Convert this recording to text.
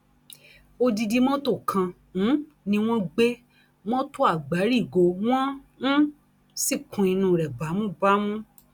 odidi mọtò kan um ni wọn gbé mọtò àgbárígò wọn um sì kún inú rẹ bámúbámú